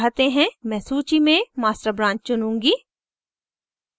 मैं सूची में master branch चुनूँगी